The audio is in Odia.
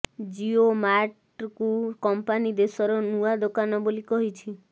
ଜିଓ ମାର୍ଟକୁ କମ୍ପାନୀ ଦେଶର ନୂଆ ଦୋକାନ ବୋଲି କହିଛି